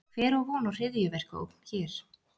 Hver á von á hryðjuverkaógn hér?